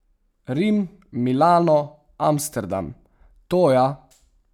Rim, Milano, Amsterdam, to ja.